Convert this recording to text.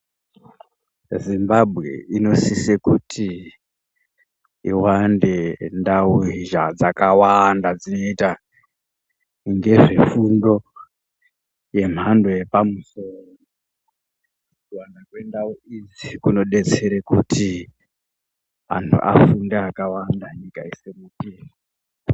Zimbabwe inosise kuti iwande ndau dzakawanda dzinoyita ngezvefundo yemhando yepamusoro, kuwanda kwendau idzi kunodetsera kuti antu afunde akawanda nyika yose kuti.